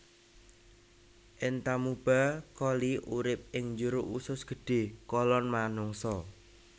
Entamuba coli urip ing jero usus gedhé kolon manungsa